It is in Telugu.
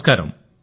నమస్కారం